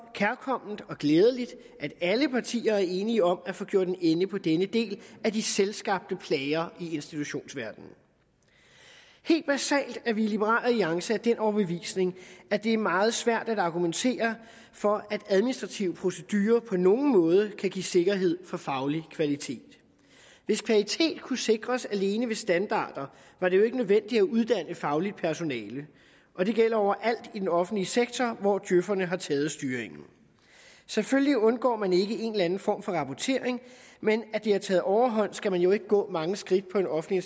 kærkomment og glædeligt at alle partier er enige om at få gjort en ende på denne del af de selvskabte plager i institutionsverdenen helt basalt er vi i liberal alliance af den overbevisning at det er meget svært at argumentere for at administrative procedurer på nogen måde kan give sikkerhed for faglig kvalitet hvis kvalitet kunne sikres alene ved standarder var det jo ikke nødvendigt at uddanne fagligt personale og det gælder overalt i den offentlige sektor hvor djøferne har taget styringen selvfølgelig undgår man ikke en eller anden form for rapportering men at det har taget overhånd skal man jo ikke gå mange skridt på en offentlig